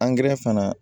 angɛrɛ fana